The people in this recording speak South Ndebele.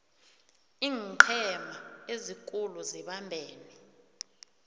iinqhema ezikulu zibambene